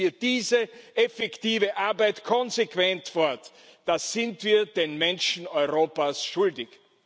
Setzen wir diese effektive Arbeit konsequent fort, das sind wir den Menschen Europas schuldig!